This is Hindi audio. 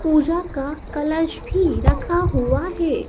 पूजा का कलश भी रखा हुआ है।